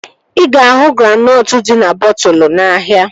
Ị ga-ahụ granọtụ dị na bọtụlu n'ahia